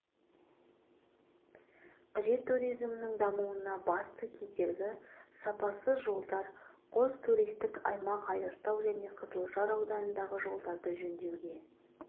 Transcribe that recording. қажет туризмнің дамуына басты кедергі сапасыз жолдар қос туристік аймақ айыртау және қызылжар ауданындағы жолдарды жөндеуге